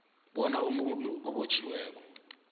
bona umuntu obotjhiweko